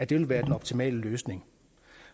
vil være den optimale løsning